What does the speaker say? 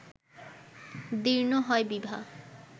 দীর্ণ হয় বিভা